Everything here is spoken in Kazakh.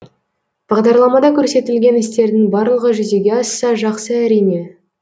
бағдарламада көрсетілген істердің барлығы жүзеге асса жақсы әрине